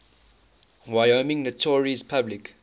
wyoming notaries public